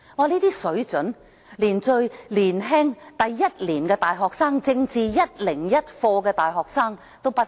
這般水準的發言，連最年輕的大學一年級生及修讀政治課101的大學生也不如。